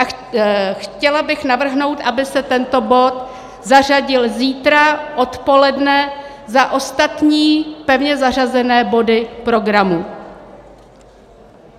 A chtěla bych navrhnout, aby se tento bod zařadil zítra odpoledne za ostatní pevně zařazené body programu.